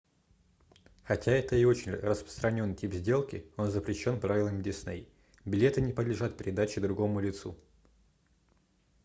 хотя это и очень распространенный тип сделки он запрещен правилами disney билеты не подлежат передаче другому лицу